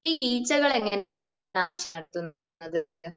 ഈ ഈച്ചകൾ എങ്ങനെയാണ് നടത്തുന്നത്?